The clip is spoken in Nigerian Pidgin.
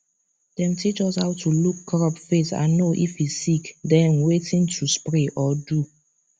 dem teach us how to look crop face and know if e sick then wetin to spray or do